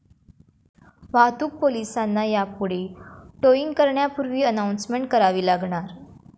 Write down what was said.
वाहतूक पोलिसांना यापुढे 'टोईंग' करण्यापूर्वी अनाउन्समेंट करावी लागणार